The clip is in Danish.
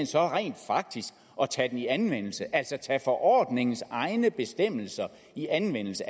så rent faktisk at tage den i anvendelse altså at tage forordningens egne bestemmelser i anvendelse